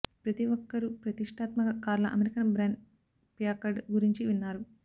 ప్రతి ఒక్కరూ ప్రతిష్టాత్మక కార్ల అమెరికన్ బ్రాండ్ ప్యాకర్డ్ గురించి విన్నారు